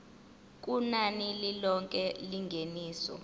kunani lilonke lengeniso